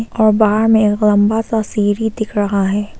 और बाहर में एक लंबा सा सीढ़ी दिख रहा है।